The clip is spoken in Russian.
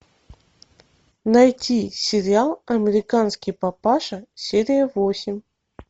найти сериал американский папаша серия восемь